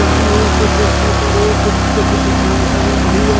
वहीं एक पर एक कुछ कपड़ा टंगा हुआ--